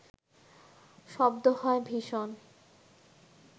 শব্দ হয় ভীষণ